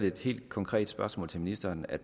et helt konkret spørgsmål til ministeren at